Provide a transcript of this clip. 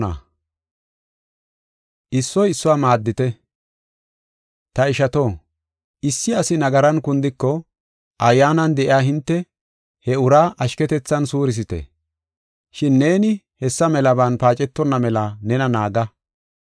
Ta ishato, issi asi nagaran kundiko, Ayyaanan de7iya hinte he uraa ashketethan suurisite. Shin neeni hessa melaban paacetonna mela nena naaga.